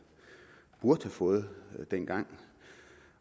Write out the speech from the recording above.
burde have fået dengang